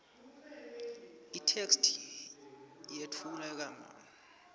itheksthi ayetfulwanga kahle